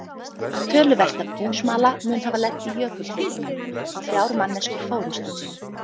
Töluvert af búsmala mun hafa lent í jökulhlaupunum og þrjár manneskjur fórust í þeim.